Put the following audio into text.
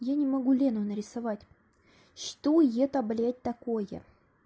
я не могу лену нарисовать что это блять такое